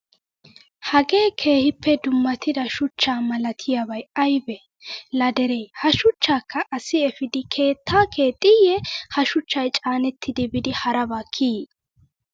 Hagee keehippe dummatida shuchcha malatiyaabayi ayibee? Laa deree ha shuchchaakka asi epiidi keettaa kexxiiyye Ha shuchchayi caanetti biidi haraba kiyii?